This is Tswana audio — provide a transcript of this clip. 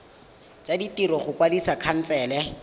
tsa ditiro go kwadisa khansele